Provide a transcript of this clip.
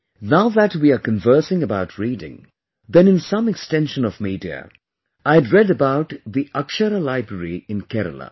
Now that we are conversing about reading, then in some extension of media, I had read about the Akshara Library in Kerala